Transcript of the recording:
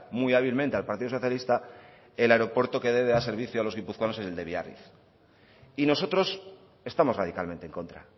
muy hábilmente al partido socialista el aeropuerto que debe dar servicio a los guipuzcoanos es el de biarritz y nosotros estamos radicalmente en contra